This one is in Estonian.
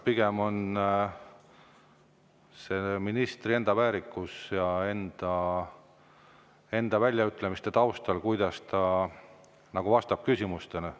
See on pigem ministri eneseväärikuse, kuidas ta vastab küsimustele.